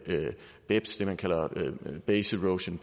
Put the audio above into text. beps det man kalder base erosion